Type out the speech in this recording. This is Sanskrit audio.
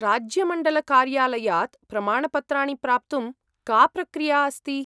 राज्यमण्डलकार्यालयात् प्रमाणपत्राणि प्राप्तुं का प्रक्रिया अस्ति ?